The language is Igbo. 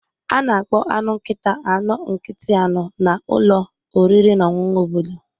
A na-akpọ anụ nkịta anọ nkịtị anọ na ụlọ oriri na ọṅụṅụ obodo